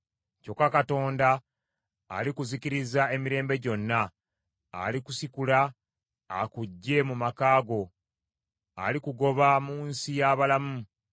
Kyokka Katonda alikuzikiriza emirembe gyonna; alikusikula, akuggye mu maka go; alikugoba mu nsi y’abalamu.